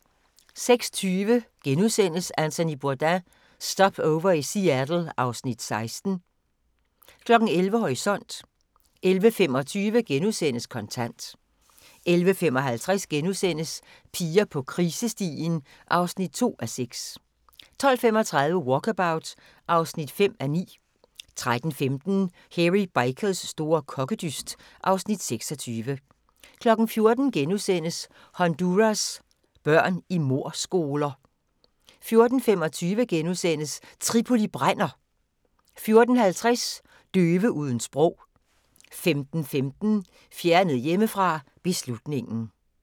06:20: Anthony Bourdain – Stopover i Seattle (Afs. 16)* 11:00: Horisont 11:25: Kontant * 11:55: Piger på krisestien (2:6)* 12:35: Walkabout (5:9) 13:15: Hairy Bikers store kokkedyst (Afs. 26) 14:00: Honduras børn i mordskoler * 14:25: Tripoli brænder! * 14:50: Døve uden sprog 15:15: Fjernet hjemmefra: Beslutningen